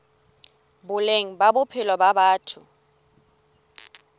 boleng ba bophelo ba batho